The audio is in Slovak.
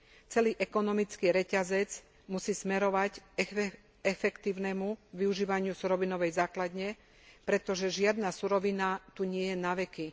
Celý ekonomický reťazec musí smerovať k efektívnemu využívaniu surovinovej základne, pretože žiadna surovina tu nie je naveky.